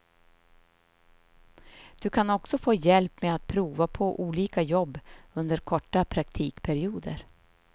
Du kan också få hjälp med att prova på olika jobb under korta praktikperioder.